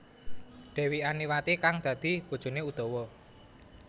Dewi Antiwati kang dadi bojoné Udawa